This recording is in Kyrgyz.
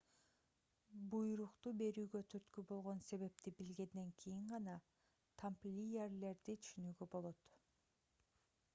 буйрукту берүүгө түрткү болгон себепти билгенден кийин гана тамплиерлерди түшүнүүгө болот